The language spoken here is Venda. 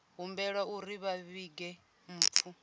humbelwa uri vha vhige mpfu